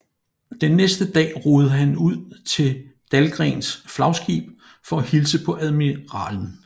Den næste dag roede han ud til Dahlgrens flagskib for at hilse på admiralen